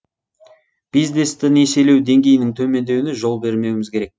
бизнесті несиелеу деңгейінің төмендеуіне жол бермеуіміз керек